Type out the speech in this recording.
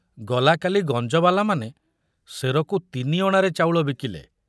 ଗଲା କାଲି ଗଞ୍ଜବାଲାମାନେ ସେରକୁ ତିନିଅଣାରେ ଚାଉଳ ବିକିଲେ।